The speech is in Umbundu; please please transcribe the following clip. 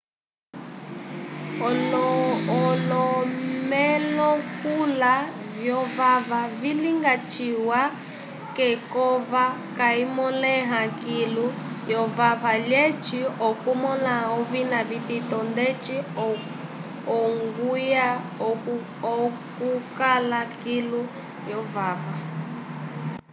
olomolekula vyovava vilinga ciwa k'ekova kayimõleha kilu lyovava lyeca okumõla ovina vitito ndeco ongulya okukala kilu lyovava